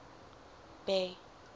bay